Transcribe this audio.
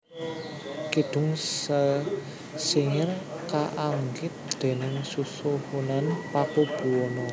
Kidung Sesingir kaanggit déning Susuhunan Paku Buwana